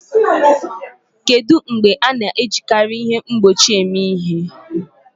Kedu mgbe a na-ejikarị ihe mgbochi eme ihe?